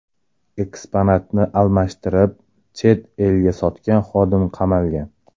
Eksponatni almashtirib, chet elga sotgan xodim qamalgan.